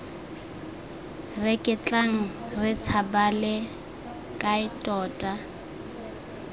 reketlang re tshabale kae tota